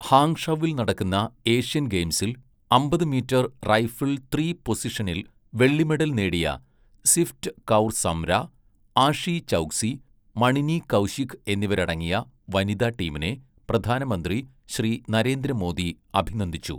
ഹാങ്ഷൗവിൽ നടക്കുന്ന ഏഷ്യൻ ഗെയിംസിൽ അമ്പത് മീറ്റർ റൈഫിൾ ത്രീ പൊസിഷനിൽ വെള്ളി മെഡൽ നേടിയ സിഫ്റ്റ് കൗർ സംര, ആഷി ചൗക്സി, മണിനി കൗശിക് എന്നിവരടങ്ങിയ വനിതാ ടീമിനെ പ്രധാനമന്ത്രി ശ്രീ നരേന്ദ്ര മോദി അഭിനന്ദിച്ചു.